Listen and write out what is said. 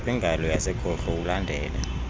kwingalo yasekhohlo ulandele